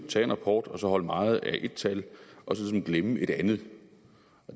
tage en rapport og så holde meget af et tal og glemme et andet